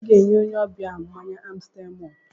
Ị ga-enye onye ọbịa ahụ mmanya Amstel mọlt